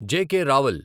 JK. Rawal